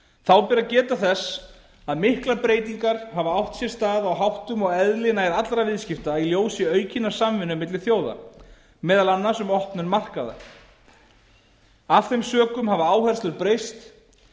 þá ber að geta þess að miklar breytingar hafa átt sér stað á háttum og eðli nær allra viðskipta í ljósi aukinnar samvinnu milli þjóða meðal annars um opnum markaða af þeim sökum hafa áherslur breyst